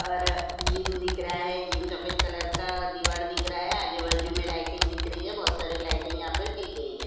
और जीम दिख रहा है जीम सफ़ेद कलर का दिवार दिख रहा है आजू बाजू में लाइटिंग दिख रही है बहुत सारी लाइटिंग यहाँ पर की गई है।